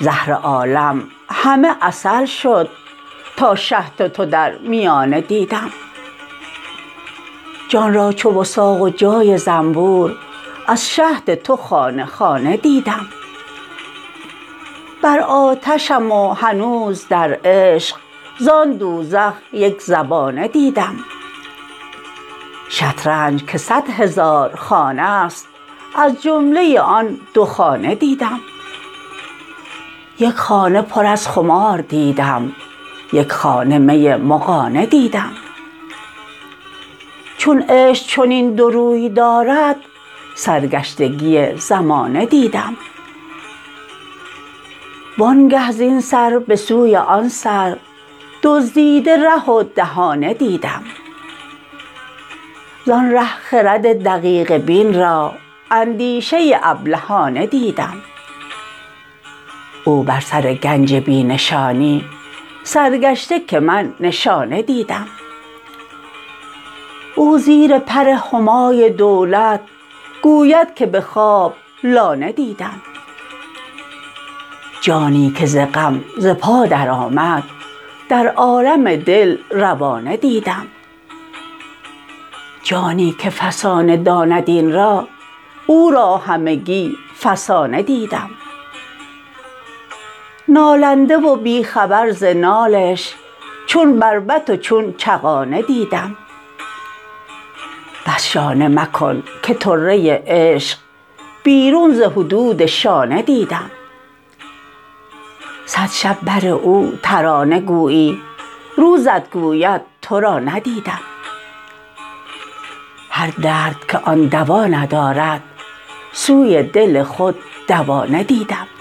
زهر عالم همه عسل شد تا شهد تو در میانه دیدم جان را چو وثاق و جای زنبور از شهد تو خانه خانه دیدم بر آتشم و هنوز در عشق زان دوزخ یک زبانه دیدم شطرنج که صد هزار خانه ست از جمله آن دو خانه دیدم یک خانه پر از خمار دیدم یک خانه می مغانه دیدم چون عشق چنین دو روی دارد سرگشتگی زمانه دیدم وانگه زین سر به سوی آن سر دزدیده ره و دهانه دیدم زان ره خرد دقیقه بین را اندیشه ابلهانه دیدم او بر سر گنج بی نشانی سرگشته که من نشانه دیدم او زیر پر همای دولت گوید که به خواب لانه دیدم جانی که ز غم ز پا درآمد در عالم دل روانه دیدم جانی که فسانه داند این را او را همگی فسانه دیدم نالنده و بی خبر ز نالش چون بربط و چون چغانه دیدم بس شانه مکن که طره عشق بیرون ز حدود شانه دیدم صد شب بر او ترانه گویی روزت گوید تو را ندیدم هر درد که آن دوا ندارد سوی دل خود دوانه دیدم